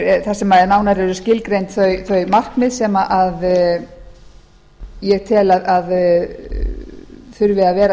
frumvarpsins þar sem nánar eru skilgreind þau markmið sem ég tel að þurfi að vera